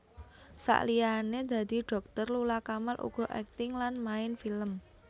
Saliyané dadi dhokter Lula Kamal uga akting lan main film